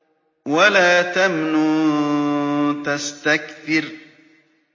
وَلَا تَمْنُن تَسْتَكْثِرُ